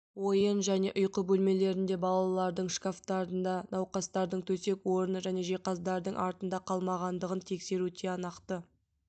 ойын және ұйқы бөлмелерінде балалардың шкафтарда науқастардың төсек орны және жиһаздардың артында қалмағандығын тексеру тиянақты